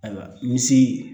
Ayiwa misi